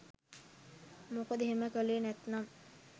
මොකද එහෙම කලේ නැත්නම්